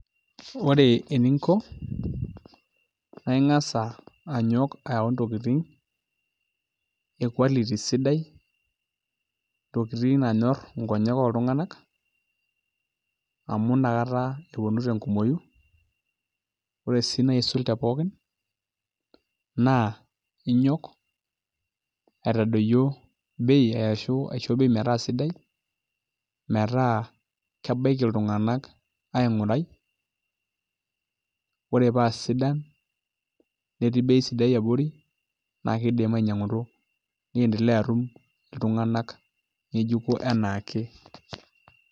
Ore eninko naa aing'as anyok ayau ntokitin e quality amu inakata eponu tenkumooi ore sii enaisul tepookin naa ing'as aitadoyio bei ashu aisho bei metaa sidai metaa kebaiki iltung'anak aing'urai ore paa sidan netii bei sidai abori naa ketumoki ainyiang'u niendelea atum iltung'anak ng'ejuko enaa ake.